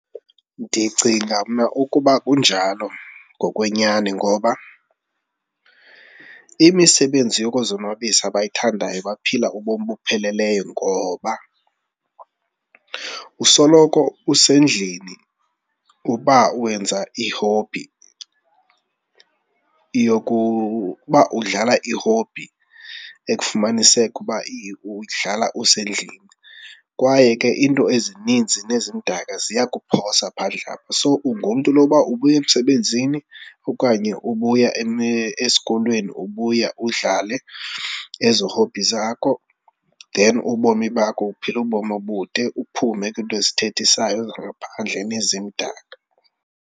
Ndicinga mna ukuba kunjalo ngokwenyani ngoba imisebenzi yokuzonwabisa abayithandayo baphila ubomi obupheleleyo ngoba usoloko usendlini uba wenza i-hobby, uba udlala i-hobby ekufumaniseke uba uyidlala usendlini kwaye ke iinto ezininzi nezimdaka ziyakuphosa phandle apha. So, ungumntu noba ubuya emsebenzini okanye ubuya esikolweni, ubuya udlale ezo hobby zakho then ubomi bakho uphila ubomi obude, uphume kwiinto ezithethisayo zangaphandle nezimdaka.